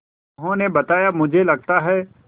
उन्होंने बताया मुझे लगता है